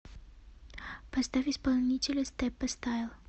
поставь исполнителя степпа стайл